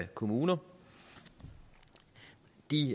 kommuner de